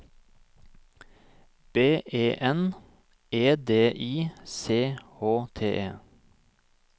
B E N E D I C H T E